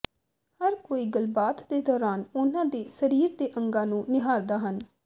ਹਰ ਕੋਈ ਗੱਲਬਾਤ ਦੇ ਦੌਰਾਨ ਉਨ੍ਹਾਂ ਦੇ ਸਰੀਰ ਦੇ ਅੰਗਾਂ ਨੂੰ ਨਿਹਾਰਦਾ ਹਨ